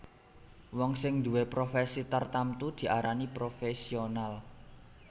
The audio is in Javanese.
Wong sing nduwé profèsi tartamtu diarani profèsional